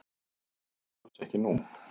Svo er alls ekki nú.